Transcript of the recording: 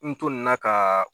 N to nin na ka